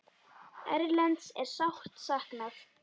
Erlends er sárt saknað.